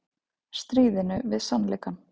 Stríðinu við sannleikann